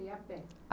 E a pé. a